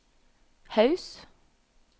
Haus